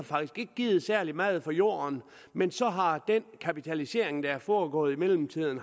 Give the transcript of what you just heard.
givet særlig meget for jorden men så har den kapitalisering der er foregået i mellemtiden